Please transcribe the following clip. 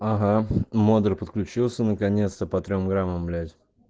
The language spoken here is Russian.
ага модуль подключился наконец-то по трём граммам блять